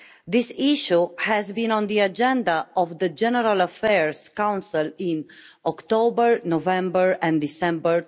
This issue has been on the agenda of the General Affairs Council in October, November and December